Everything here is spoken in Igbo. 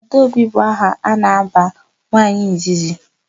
Adaobi bụ aha a na-aba nwaanyị izizi.